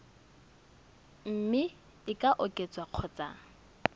mme e ka oketswa kgotsa